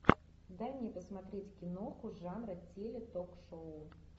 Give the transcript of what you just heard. дай мне посмотреть киноху жанра теле ток шоу